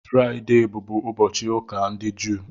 Fraịde bụbụ ụbọchị ụka ndị Jụụ.